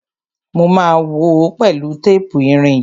Mo ma wòó pẹ̀lú tépù irin yìí.